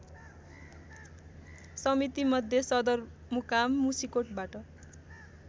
समितिमध्ये सदरमुकाम मुसिकोटबाट